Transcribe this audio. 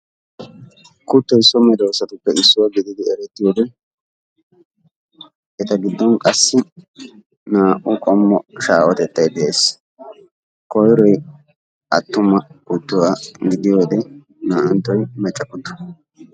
kuttoy so medoosatuppe issuwa geetees. etikka naa'awu shaahetees.. eta godoppe issoy macca qassi issoy atumma,